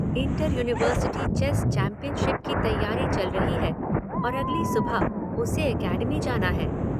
‘Inter-university chess championship’ की तैयारी चल रही है और अगली सुबह उसे एकेडमी जाना है।